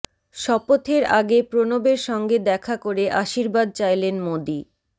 শপথের আগে প্রণবের সঙ্গে দেখা করে আশীর্বাদ চাইলেন মোদী